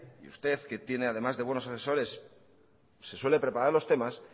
que usted que tiene además de buenos asesores se suele preparar los temas